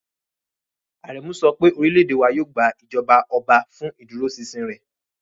Aremu sọ pé orílẹ̀-èdè wa yóò gba ìjọba ọba fún ìdúróṣinṣin rẹ̀.